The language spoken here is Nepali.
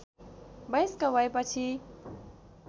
वयस्क भएपछि